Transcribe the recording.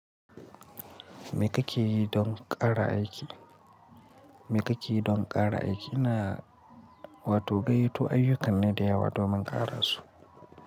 Me kake yi don ƙara aiki? Me kake yi don ƙara aiki? Ina wato gaiyyato ayyukan ne da yawa domin ƙara su.